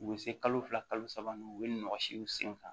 U bɛ se kalo fila kalo saba ma u bɛ ɲɔsiw sen kan